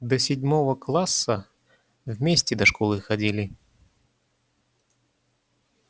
до седьмого класса вместе до школы ходили